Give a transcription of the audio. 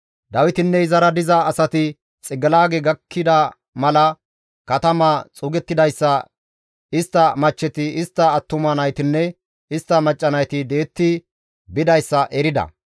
Dawitinne izara diza asati Xiqilaage gakkida mala katamaya xuugettidayssa, istta machcheti, istta attuma naytinne istta macca nayti di7etti bidayssa erida.